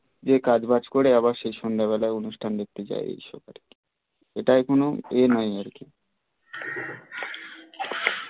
যে কাজ বাজ করে আবার সে সন্ধ্যা বেলা অনুষ্ঠান দেখতে যায় এটাই কোন ইয়ে নাই আর কি